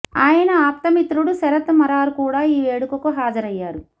ఆయన ఆప్తమిత్రుడు శరత్ మరార్ కూడా ఈ వేడుకకు హాజరయ్యారు